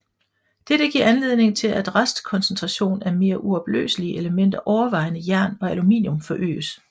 Dette giver anledning til at restkoncentration af mere uopløselige elementer overvejende jern og aluminum forøges